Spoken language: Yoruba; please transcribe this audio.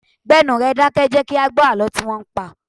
Gbé ẹnu rẹ dákẹ́! Jẹ kí a gbó àlọ́ tí wọn ń pa!